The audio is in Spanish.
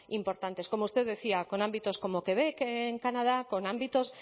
importantes como usted decía con ámbitos como quebec en canadá con ámbitos